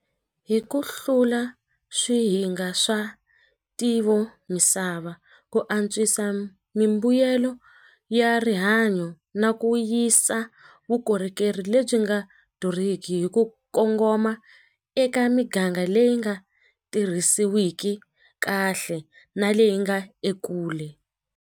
Hi ku hlula swihinga swa ntivo misava ku antswisa mimbuyelo ya rihanyo na ku yisa vukorhokeri lebyi nga durhiki hi ku kongoma eka miganga leyi nga tirhisiwiki kahle na leyi nga ekule.